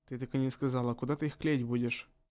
ты так и не сказала куда ты их клеить будешь